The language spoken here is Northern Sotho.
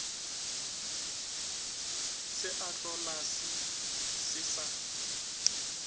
se a hlolase se sa